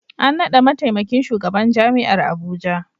An naɗa mataimakin shugaban Jami'ar Abuja.